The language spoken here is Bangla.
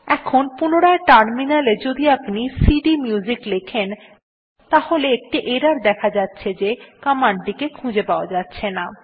এখন পুনরায় টার্মিনাল এ যদি আপনি সিডিএমইউজিক লেখেন তাহলে একটি এরর দেখা যাচ্ছে যে কমান্ড টি কে খুঁজে পাওয়া যাচ্ছেনা